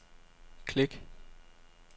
klik